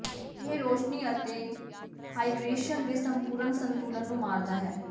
ਇਹ ਰੌਸ਼ਨੀ ਅਤੇ ਹਾਈਡਰੇਸ਼ਨ ਦੇ ਸੰਪੂਰਨ ਸੰਤੁਲਨ ਨੂੰ ਮਾਰਦਾ ਹੈ